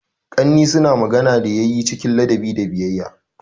Ƙannai suna magana da yanni cikin ladabi a gidanmu.